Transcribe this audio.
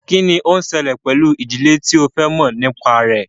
Kí ni ó ń ṣẹlẹ̀ pẹ̀lú ìdílé tí o fẹ́ mọ̀ nípa rẹ̀?